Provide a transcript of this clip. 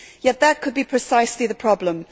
Yet that could be precisely the problem.